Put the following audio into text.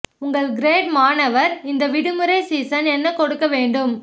உங்கள் கிரேடு மாணவர் இந்த விடுமுறை சீசன் என்ன கொடுக்க வேண்டும்